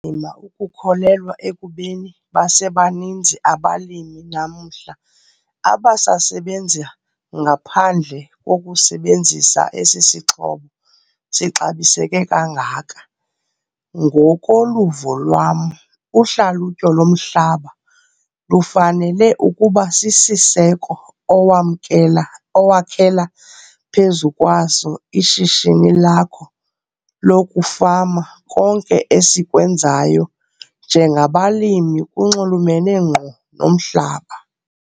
Nzima ukukholelwa ekubeni basebaninzi abalimi namhla abasasebenza ngaphandle kokusebenzisa esi sixhobo sixabiseke kangaka. Ngokoluvo lwam, uhlalutyo lomhlaba lufanele ukuba sisiseko owakhela phezu kwaso ishishini lakho lokufama. Konke esikwenzayo njengabalimi kunxulumene ngqo nomhlaba.